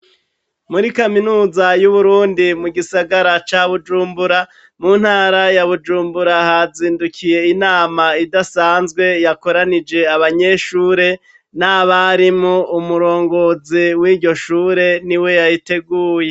Muri kaminuza y' Uburundi mu gisagara ca Bujumbura mu ntara ya Bujumbura, hazindukiye inama idasanzwe yakoranije abanyeshure n'abarimu, umurongozi w' iryo shure niwe yayiteguye.